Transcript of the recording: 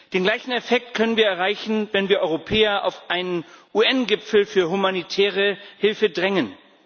Den gleichen Effekt können wir erreichen, wenn wir Europäer auf einen UN Gipfel für humanitäre Hilfe drängen.